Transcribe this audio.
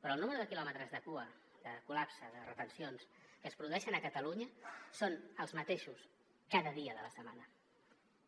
però el nombre de quilòmetres de cua de col·lapse de retencions que es produeix a catalunya és el mateix cada dia de la setmana